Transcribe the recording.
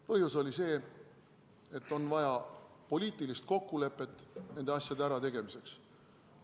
Põhjus oli see, et on vaja poliitilist kokkulepet nende asjade ärategemiseks.